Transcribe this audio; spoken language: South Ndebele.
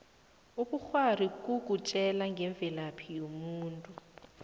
ubukghwari bukutjela ngemvelaphi yomuntu